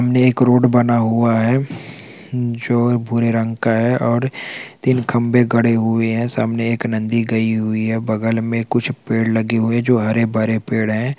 सामने एक रोड बना हुआ है जो भूरे रंग का है और तीन खंभे गड़े हुए हैं सामने एक नदी गई हुई है बगल में कुछ पेड़ लगे हुए हैं जो हरे-भरे पेड़ हैं।